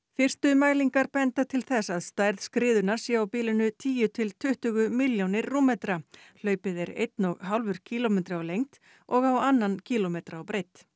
fyrstu mælingar benda til þess að stærð skriðunnar sé á bilinu tíu til tuttugu milljónir rúmmetra hlaupið er einn og hálfur kílómetri á lengd og á annan kílómetra á breidd